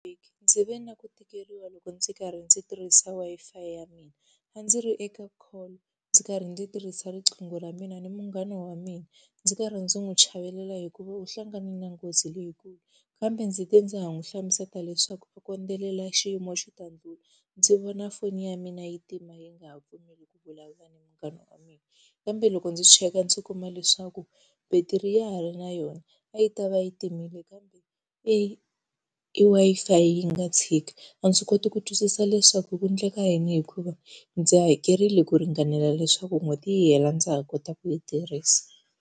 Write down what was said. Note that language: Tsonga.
Ndzi ve na ku tikeriwa loko ndzi karhi ndzi tirhisa wi-fi ya mina. A ndzi ri eka call ndzi karhi ndzi tirhisa riqingho ra mina ni munghana wa mina. Ndzi karhi ndzi n'wi chavelela hikuva u hlangane na nghozi leyikulu, kambe ndzi te ndza ha n'wi hlamusela leswaku a khodelela xiyimo xi ta ndlhula, ndzi vona foni ya mina yi tima yi nga ha pfumeli ku vulavula na munghana wa mina. Kambe loko ndzi cheka ndzi kuma leswaku battery ya ha ri na yona, a yi ta va yi timile kambe i Wi-Fi yi nga tshika. A ndzi koti ku twisisa leswaku ku endleka yini hikuva ndzi hakerile ku ringanela leswaku n'hweti yi hela ndza ha kota ku yi tirhisa.